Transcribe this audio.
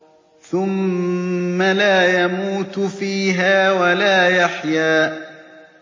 ثُمَّ لَا يَمُوتُ فِيهَا وَلَا يَحْيَىٰ